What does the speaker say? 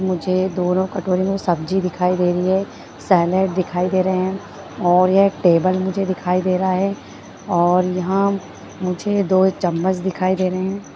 मुझे दोनों कटोरी में सब्जी देखाई दे रही है सलाड दिखाई दे रहे है और ये टेबल मुझे दिखाई दे रहा है और यहाँ मुझे दो चमच दिखाई दे रहे है।